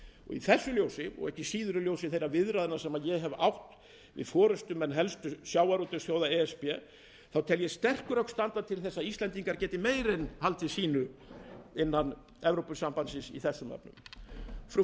í þessu ljósi og ekki síður í ljósi þeirra viðræðna sem ég hef átt við forustumenn helstu sjávarútvegsþjóða e s b tel ég sterk rök standa til þess að íslendingar geti meira en haldið sínu í þessum efnum innan evrópusambandsins frú